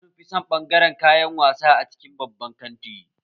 Yara sunfi son ɓangaren kayan wasa a cikin babban kanti